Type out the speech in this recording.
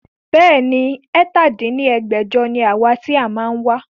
Bẹ́ẹ̀ni, ẹ̀ta dín ní ẹgbẹ́jọ ni àwa ti a máa wá